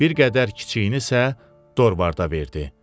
Bir qədər kiçiyini isə Dorvarda verdi.